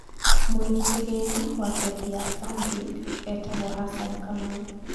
Mũigi kĩgĩna wa bengi ya Stanbink etagwo Hassan kamau